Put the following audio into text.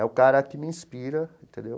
É o cara que me inspira, entendeu?